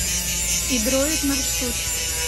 идроид маршрут